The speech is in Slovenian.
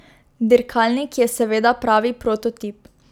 Dirkalnik je seveda pravi prototip.